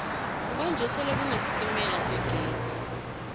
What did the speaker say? kwanje sele kune sitemala segezi